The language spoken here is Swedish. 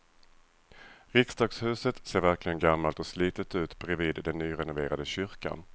Riksdagshuset ser verkligen gammalt och slitet ut bredvid den nyrenoverade kyrkan.